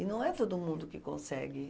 E não é todo mundo que consegue.